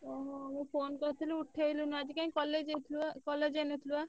ଓହୋ। ମୁଁ phone କରିଥିଲି ଉଠେଇଲୁନି ଆଜି କାଇଁ college college ଯାଇନଥିଲୁବା?